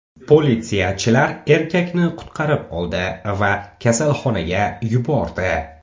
Politsiyachilar erkakni qutqarib oldi va kasalxonaga yubordi.